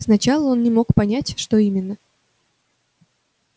сначала он не мог понять что именно